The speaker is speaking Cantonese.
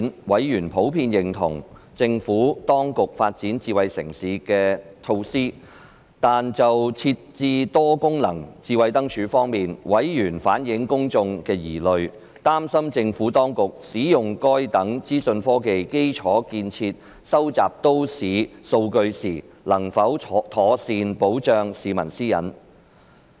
委員普遍認同政府當局發展智慧城市的措施；但就設置多功能智慧燈柱，委員反映公眾的疑慮，擔心政府當局使用該等資訊科技基礎建設收集都市數據時，能否妥善保障市民私隱。